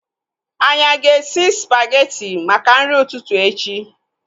Anyị aga esi spageti maka nri ụtụtụ echi?